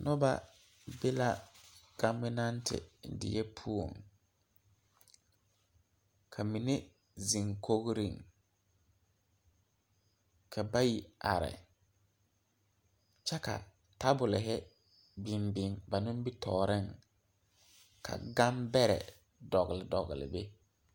Noba be la gɔbenɛnte die poɔ ka mine zeŋ kogriŋ ka bayi are kyɛ ka tabulhi biŋ biŋ ba nimitɔɔreŋ ka gambɛrɛ dogli dogli be.